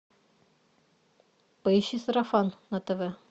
поищи сарафан на тв